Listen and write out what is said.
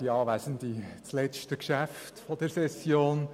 Es ist das letzte Geschäft dieser Session.